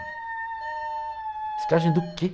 Reciclagem do quê?